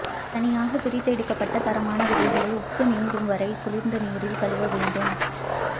தனியாக பிரித்தெடுக்கப்பட்ட தரமான விதைகளை உப்பு நீங்கும் வரை குளிர்ந்த நீரில் கழுவ வேண்டும்